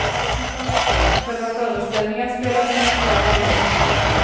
I själva föreställningen spelas den tyvärr aldrig.